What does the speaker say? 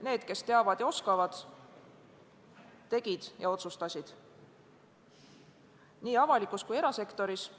Need, kes teavad ja oskavad, tegid ja otsustasid, nii avalikus kui ka erasektoris.